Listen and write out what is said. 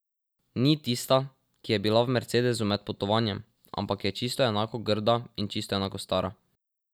Ni tista, ki je bila v mercedesu med potovanjem, ampak je čisto enako grda in čisto enako stara.